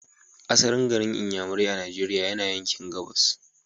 Asalin garin Inyamurai a Nigeria yana yanki gabas.